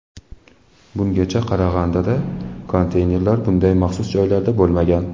Bungacha Qarag‘andada konteynerlar bunday maxsus joylarda bo‘lmagan.